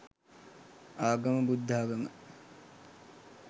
ආගම බුද්ධාගම